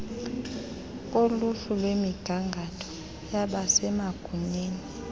koluhlu lwemigangatho yabasemagunyeni